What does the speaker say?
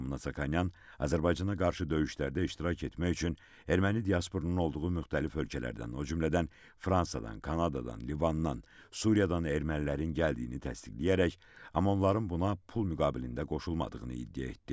Lyobomnonyan Azərbaycana qarşı döyüşlərdə iştirak etmək üçün erməni diasporunun olduğu müxtəlif ölkələrdən, o cümlədən Fransadan, Kanadadan, Livandan, Suriyadan ermənilərin gəldiyini təsdiqləyərək, amma onların buna pul müqabilində qoşulmadığını iddia etdi.